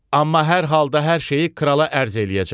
Amma hər halda hər şeyi krala ərz eləyəcəm.